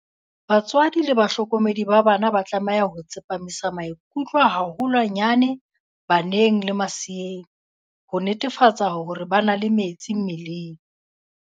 Batswadi le bahlokomedi ba bana ba tlameha ho tsepamisa maikutlo haholwanyane baneng le maseeng, ho netefatsa hore ba na le metsi mmeleng.